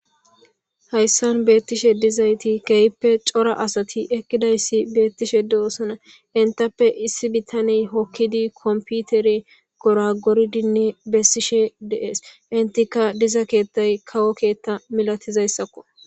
Hayssan beettishe dizayti keyppe cora asati ekkidayssi beettishe duosana intappe issi bittaney hokkidi komputeri goragoridinne bessishe dees intika diza keettay kawo keetta milatizayssakko.